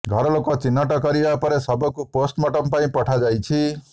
ଘର ଲୋକ ଚିହ୍ନଟ କରିବା ପରେ ଶବକୁ ପୋଷ୍ଟମର୍ଟମ ପାଇଁ ପଠାଯାଇଛି